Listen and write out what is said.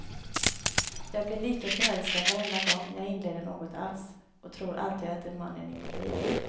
Jag blir lika förälskad varenda gång jag inleder något alls, och tror alltid att det är mannen i mitt liv.